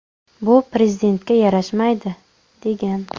Bu prezidentga yarashmaydi”, degan.